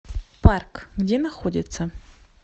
парк где находится